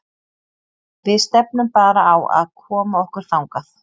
Við stefnum bara á að koma okkur þangað.